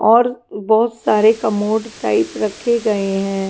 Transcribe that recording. और बहुत सारे कमोड टाइप रखे गए हैं।